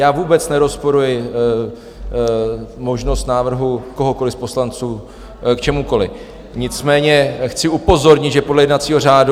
Já vůbec nerozporuji možnost návrhu kohokoliv z poslanců k čemukoliv, nicméně chci upozornit, že podle jednacího řádu -